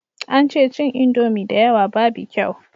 An ce cin indomi da yawa babu kyau